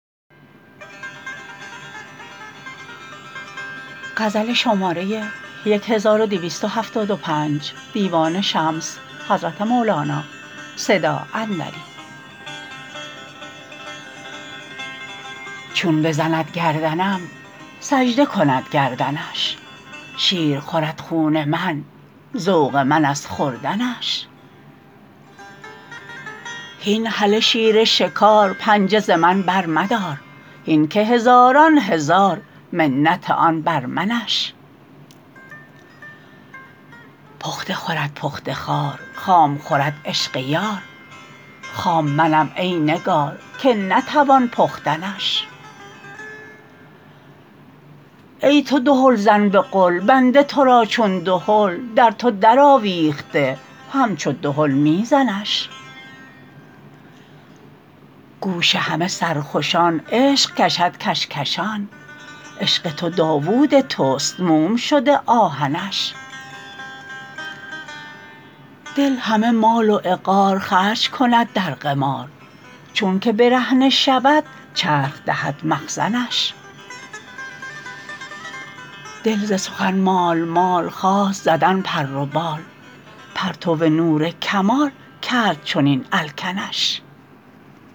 چون بزند گردنم سجده کند گردنش شیر خورد خون من ذوق من از خوردنش هین هله شیر شکار پنجه ز من برمدار هین که هزاران هزار منت آن بر منش پخته خورد پخته خوار خام خورد عشق یار خام منم ای نگار که نتوان پختنش ای تو دهلزن به قل بنده تو را چون دهل در تو درآویخته همچو دهل می زنش گوش همه سرخوشان عشق کشد کش کشان عشق تو داوود توست موم شده آهنش دل همه مال و عقار خرج کند در قمار چونک برهنه شود چرخ دهد مخزنش دل ز سخن مال مال خواست زدن پر و بال پرتو نور کمال کرد چنین الکنش